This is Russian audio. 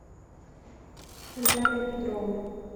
виталия петрова